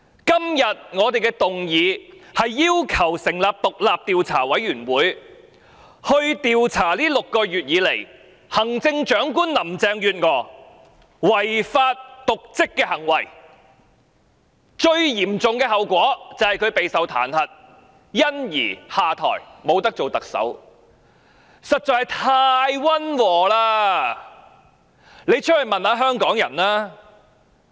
今天我們的議案是要求成立獨立調查委員會，調查這6個月以來行政長官林鄭月娥違法及瀆職的行為，最嚴重的後果是她會遭受彈劾而下台，這樣做實在是太溫和了，出去問問香港人吧。